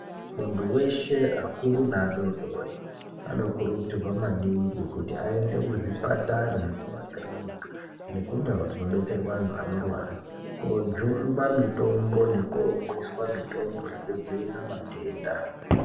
Muntu weshe akuru neadodori vanokurudzirwa maningi kuti aende kuzvipatara kumakiriniki nekundau kunobetserwa antu anorwara kujungwa mitombo nekomwiswa mitombo yekudzivirira matenda.